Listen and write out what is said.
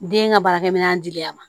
Den ka baarakɛ minɛn diya ma